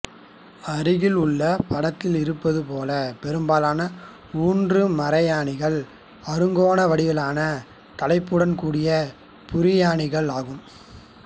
அருகில் உள்ள படத்தில் இருப்பது போல் பெரும்பாலான ஊன்று மரையாணிகள் அறுகோண வடிவான தலையுடன் கூடிய புரியாணிகள் ஆகும்